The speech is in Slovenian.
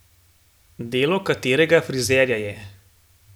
Delo katerega frizerja je?